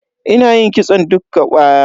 Ina yin kitson dukka baya.